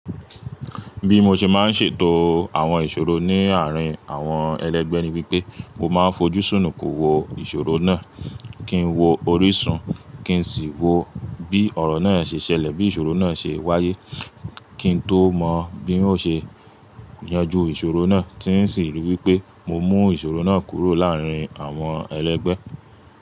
Bí mo ṣe máa ń ṣètò àwọn ìṣòro ní àárín àwọn ẹlẹ́gbẹ́ ni wípé mo máa ń fojú súnù kò wo ìṣòro náà, kí n wo orísun, kí n sì wo bí ọ̀rọ̀ náà ṣe ṣẹlẹ̀, bí ìṣòro náà ṣe wáyé, kí n tó mọ bí oun ṣe yanjú ìṣòro náà tí sì rí wípé mo mú ìṣòro náà kúrò láàárín àwọn ẹlẹ́gbẹ́.